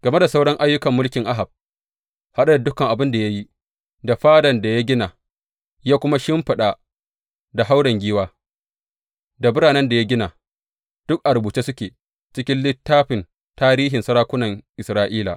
Game da sauran ayyukan mulkin Ahab, haɗe da dukan abin da ya yi, da fadan da ya gina ya kuma shimfiɗa da hauren giwa, da biranen da ya gina, duk a rubuce suke a cikin littafin tarihin sarakunan Isra’ila.